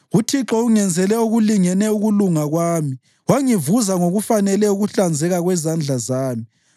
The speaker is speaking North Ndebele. UThixo ungenzele okulingene ukulunga kwami; wangivuza ngokufanele ukuhlanzeka kwezandla zami.